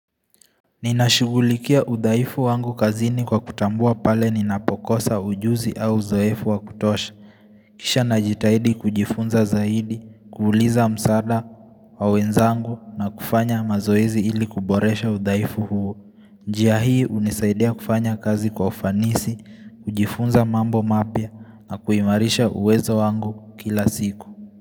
Ninashughulikia udhaifu wangu kazini kwa kutambua pale ninapokosa ujuzi au zoefu wakutosha. Kisha najitahidi kujifunza zaidi, kuuliza msaada wa wenzangu na kufanya mazoezi ili kuboresha udhaifu huo. Njia hii unisaidia kufanya kazi kwa ufanisi, kujifunza mambo mapya na kuimarisha uwezo wangu kila siku.